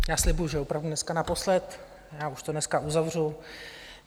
Já slibuji, že opravdu dneska naposled, já už to dneska uzavřu.